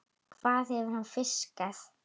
Hvað hefur hann fiskað?